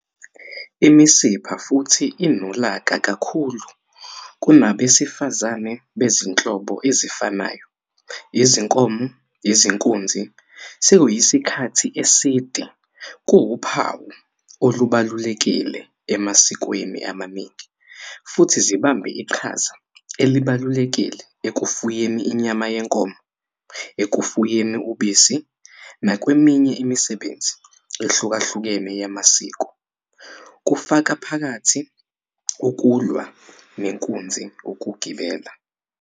Imisipha futhi inolaka kakhulu kunabesifazane bezinhlobo ezifanayo, izinkomo, izinkunzi sekuyisikhathi eside kuwuphawu olubalulekile emasikweni amaningi, futhi zibambe iqhaza elibalulekile ekufuyeni inyama yenkomo, ekufuyeni ubisi, nakweminye imisebenzi ehlukahlukene yamasiko, kufaka phakathi ukulwa nenkunzi ukugibela.